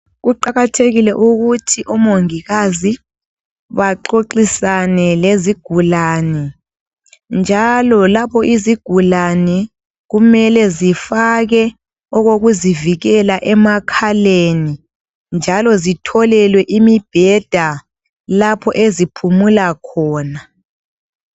Kuqakathekile ukuthi omongikazi baxoxisane lezigulani njalo lapho kumele izigulani kumele zifake okokuzivikela emakhaleni njalo sitholelwe imibheda lapho eziphumula khona.